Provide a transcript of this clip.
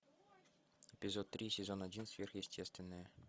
эпизод три сезон один сверхъестественное